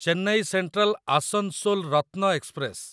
Chennai central Asansol Ratna express